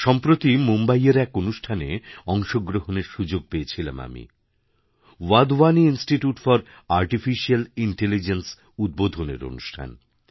সম্প্রতি মুম্বাইয়ের এক অনুষ্ঠানেঅংশগ্রহণের সুযোগ পেয়েছিলাম আমি ওয়াধওয়ানি ইনস্টিটিউট ফর আর্টিফিশিয়্যালইন্টেলিজেন্স উদ্বোধনের অনুষ্ঠান